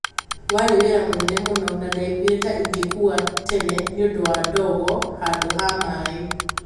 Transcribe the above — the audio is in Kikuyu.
warĩ wĩra mũnene mũno na ndaiguire ta ingĩkua tene nĩũndũ wa ndogo handũ ha maĩ